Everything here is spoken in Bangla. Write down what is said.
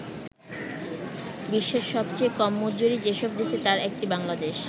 বিশ্বের সবচেয়ে কম মজুরি যেসব দেশে তার একটি বাংলাদেশ।